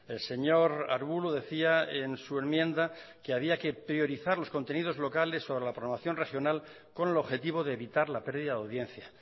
el señor arbulo decía en su enmienda que había que priorizar los contenidos locales sobre la programación regional con el objetivo de evitar la pérdida de audiencia